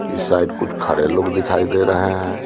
इस साइड कुछ खड़े लोग दिखाई दे रहे हैं।